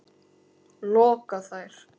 loka þær.